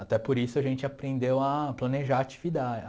Até por isso a gente aprendeu a planejar a atividade, a...